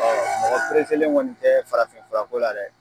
Mɔgɔ pereselen kɔni tɛ farafin furako la dɛ!